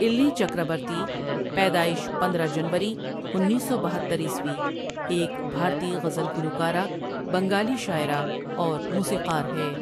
الِلِی چکرابرتی، پیدائش پندرہ جنوری، انیس سو بہترعیسوی ایک بھارتی غزل گلوکارہ، بنگالی شاعرہ اور موسیقار ہے ۔